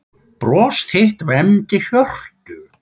Bros þitt vermdi hjörtu.